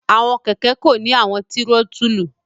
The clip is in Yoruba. Awọn kẹkẹ ko ni awọn tirotulu